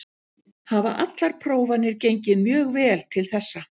Hafa allar prófanir gengið mjög vel til þessa.